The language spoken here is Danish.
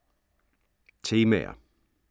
Temaer